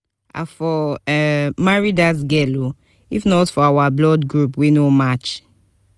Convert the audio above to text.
i for marry dat girl oo if not for our blood group wey no match